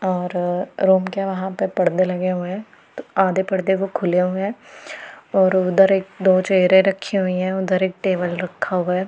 और रूम के वहां पे पर्दे लगे हुए हैं तो आधे पर्दे वो खुले हुए हैं और उधर एक दो चेयरें रखी हुई हैं उधर एक टेबल रखा हुआ है।